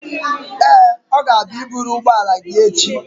Ee, ọ ga-abịa i buru ụgbọala gị echi.